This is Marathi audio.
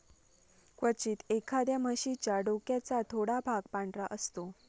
क्वचित, एखाद्या म्हशीच्या डोक्याचा थोडा भाग पांढरा असतो.